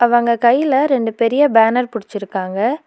அவங்க கைல ரெண்டு பெரிய பேனர் புடிச்சிருக்காங்க.